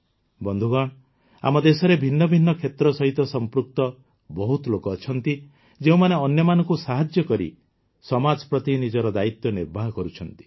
ବନ୍ଧୁଗଣ ଆମ ଦେଶରେ ଭିନ୍ନ ଭିନ୍ନ କ୍ଷେତ୍ର ସହିତ ସମ୍ପୃକ୍ତ ବହୁତ ଲୋକ ଅଛନ୍ତି ଯେଉଁମାନେ ଅନ୍ୟମାନଙ୍କୁ ସାହାଯ୍ୟ କରି ସମାଜ ପ୍ରତି ନିଜର ଦାୟିତ୍ୱ ନିର୍ବାହ କରୁଛନ୍ତି